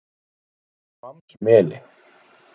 Hvammsmeli